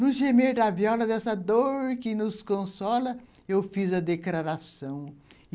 No gemer da viola dessa dor que nos consola, eu fiz a declaração.